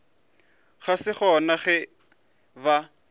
ga se gona ge ba